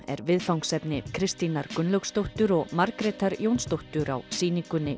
er viðfangsefni Kristínar Gunnlaugsdóttur og Margrétar Jónsdóttur á sýningunni